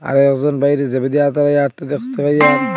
আর একজন বাইরে যাইবে দেয়া